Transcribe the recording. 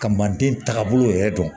Ka maaden tagabolo yɛrɛ dɔn